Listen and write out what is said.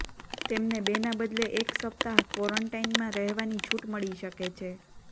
તેમને બેના બદલે એક સપ્તાહ ક્વોરન્ટાઈનમાં રહેવાની છુટ મળી શકે છે